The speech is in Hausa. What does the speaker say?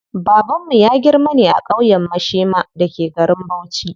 Babanmu ya girma ne a ƙauyen Mashema da ke garin Bauchi.